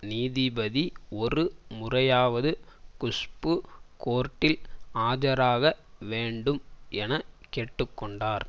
நீதிபதி ஒரு முறையாவது குஷ்பு கோர்ட்டில் ஆஜராக வேண்டும் என கேட்டு கொண்டார்